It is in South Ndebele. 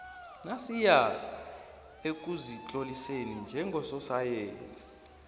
nasiya ekuzitloliseni njengososayensi